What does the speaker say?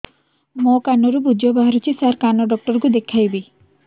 ମୋ କାନରୁ ପୁଜ ବାହାରୁଛି ସାର କାନ ଡକ୍ଟର କୁ ଦେଖାଇବି